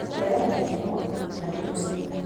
Kũregana na mĩrimũ na tũnyamũ